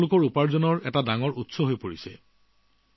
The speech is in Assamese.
এয়া তেওঁলোকৰ উপাৰ্জনৰ এক প্ৰধান উৎস হৈ পৰিছে